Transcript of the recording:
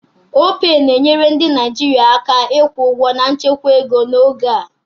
Opay na-enyere ndị Naijiria aka ịkwụ ụgwọ na nchekwa ego n'oge a